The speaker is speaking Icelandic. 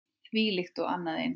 Þvílíkt og annað eins.